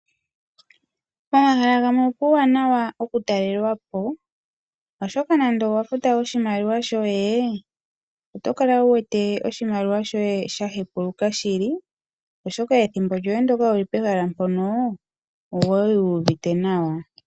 Pomahala gamwe opuwanawa oku talelapo oshoka nande owa futa oshimaliwa shoye oto kala wuwete oshimaliwa shoye shahepuluka shili. Oshoka ethimbo lyoye ndono wali wuli pehala mpono okwali wuuvite nawa.